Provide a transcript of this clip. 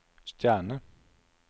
stjerne